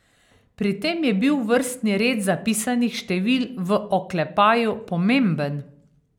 Pri tem je bil vrstni red zapisanih števil v oklepaju pomemben.